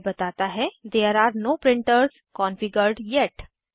यह बताता है There are no printers configured येत